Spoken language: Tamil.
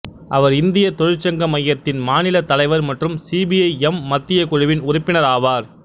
அவர் இந்திய தொழிற்சங்க மையத்தின் மாநிலத் தலைவர் மற்றும் சிபிஐ எம் மத்திய குழுவின் உறுப்பினர் ஆவார்